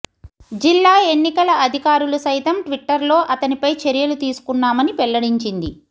జిల్లా ఎన్నికల అధికారులు సైతం ట్విట్టర్లో అతనిపై చర్యలు తీసుకున్నామని వెల్లడించింది